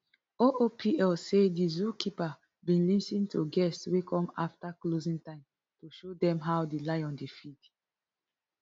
oopl say di zookeeper bin lis ten to guests wey come afta closing time to show dem how di lion dey feed